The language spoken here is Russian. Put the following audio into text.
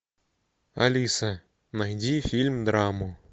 алиса найди фильм драму